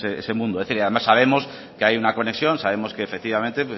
ese mundo es decir además sabemos que hay una conexión sabemos que efectivamente